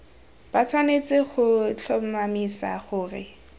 ba tshwanetse go tlhomamisa gore